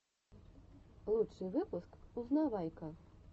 лучший выпуск узнавайка